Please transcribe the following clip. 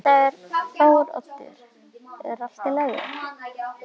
Þetta er Þóroddur, er allt í lagi?